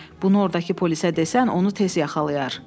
Bunu ordakı polisə desən, onu tez yaxalayarlar.